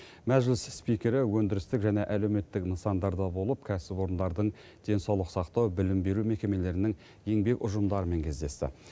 мәжіліс спикері өндірістік және әлеуметтік нысандарда болып кәсіпорындардың денсаулық сақтау білім беру мекемелерінің еңбек ұжымдарымен кездесті